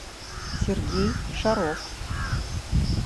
сергей шаров